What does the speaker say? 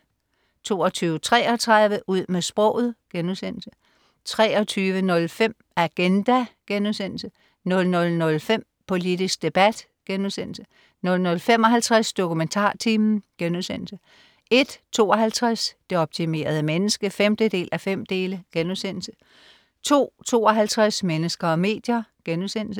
22.33 Ud med sproget* 23.05 Agenda* 00.05 Politisk debat* 00.55 DokumentarTimen* 01.52 Det optimerede menneske 5:5* 02.52 Mennesker og medier*